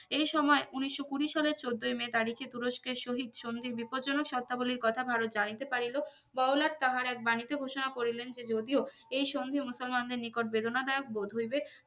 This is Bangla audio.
এই সময় উনিশশো কুড়ি সালে চোদ্দই মে তারিখে তুস্কোর সহিত সন্ধির বিপদ জনক শর্তাবলীর কথা ভারত জানিতে পারিলো বড় লাট তাহার এক বানি তে ঘোষণা করিলেন যে যদিও এই সন্ধি মুসলমানদের নিকট বেদনাদায়ক বোধ হইবে